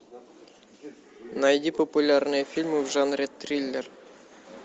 найди популярные фильмы в жанре триллер